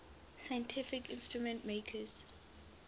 scientific instrument makers